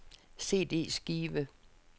CD-skive